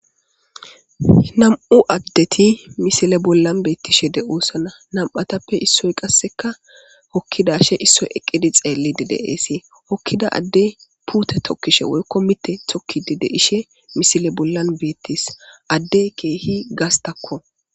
Nam'u adeti misile bolla betishe de'eosona nam'atappe issoy qasekka hokidashe issoy eqidi xelidi de'ese hokida Adey pute tokishe woyko mithi tokidi de'eshe misile bollan betese adey kehi gastakko